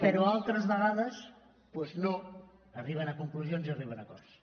però altres vegades doncs no arriben a conclusions i arriben a acords